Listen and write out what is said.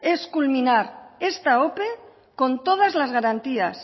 es culminar esta ope con todas las garantías